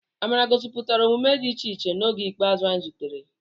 Amara gosipụtara omume dị iche iche n'oge ikpeazụ anyị zutere.